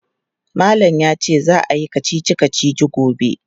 Malam ya ce za a yi kacici-kacici gobe.